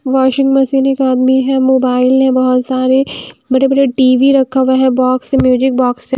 Washing machine एक आदमी है मोबाइल है बहुत सारे बड़े बड़े टी_वी रखा हुआ है बॉक्स है म्यूजिक बॉक्स है।